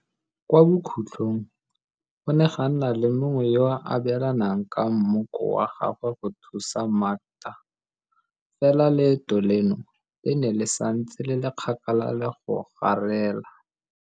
Kwa bokhutlhong go ne ga nna le mongwe yo a abelanang ka mmoko wa gagwe go thusa Makda, fela leeto leno le ne le santse le le kgakala le go garela.